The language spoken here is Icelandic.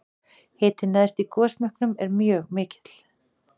Hitinn neðst í gosmekkinum er mjög mikill.